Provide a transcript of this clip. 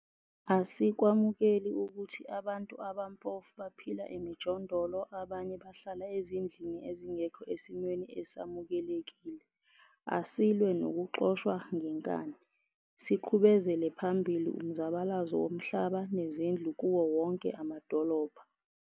Asikwamukeli ukuthi abantu abampofu baphila emijondolo abanye bahlala ezindlini ezingekho esimweni esamukelekile. Asilwe nokuxoshwa ngenkani, siqhubezele phambili umzabalazo womhlaba nezindlu kuwo wonke amadolobha.